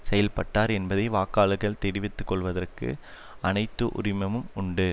செயல்பட்டார் என்பதை வாக்காளர்கள் தெரிந்து கொள்ளுவதற்கு அனைத்து உரிமையும் உண்டு